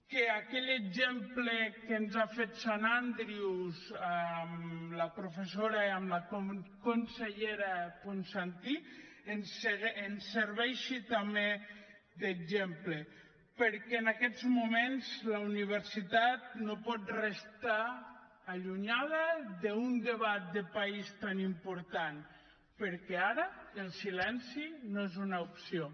que aquell exemple que ens ha fet saint andrews amb la professora i amb la consellera ponsatí ens serveixi també d’exemple perquè en aquests moments la universitat no pot restar allunyada d’un debat de país tan important perquè ara el silenci no és una opció